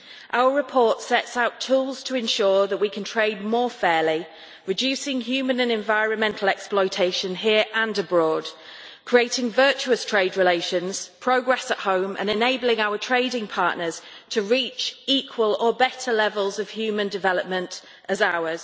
Our report sets out tools to ensure that we can trade more fairly, reducing human and environmental exploitation here and abroad, creating virtuous trade relations, progress at home and enabling our trading partners to reach equal or better levels of human development as ours.